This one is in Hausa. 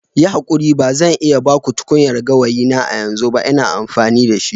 Yi hakuri ba zan iya ba ku tukunyar gawayi na a yanzu ba. Ina amfani da shi.